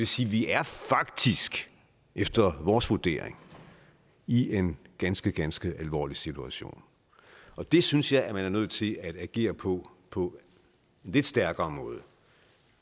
sige vi er faktisk efter vores vurdering i en ganske ganske alvorlig situation og det synes jeg man er nødt til at agere på på en lidt stærkere måde